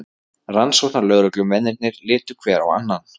Rannsóknarlögreglumennirnir litu hver á annan.